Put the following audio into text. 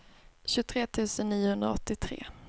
tjugotre tusen niohundraåttiotre